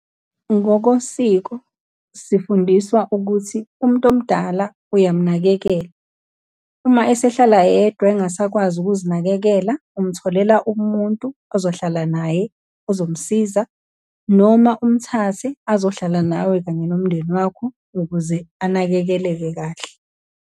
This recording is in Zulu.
Ngokosiko sifundiswa ukuthi, umuntu omdala uyamnakekela. Uma esehlala yedwa, engasakwazi ukuzinakekela, umutholela umuntu ozohlala naye, ozomsiza, noma umthathe azohlala nawe kanye nomndeni wakho ukuze anakekeleke kahle.